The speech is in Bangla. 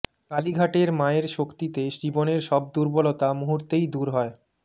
কালীঘাটের মায়ের শক্তিতে জীবনের সব দুর্বলতা মুহূর্তেই দূর হয়